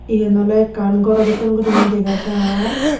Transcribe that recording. iyen oley ekkan gorw dokken guriney dega jar.